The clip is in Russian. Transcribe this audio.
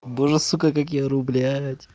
боже сука как я ору блядь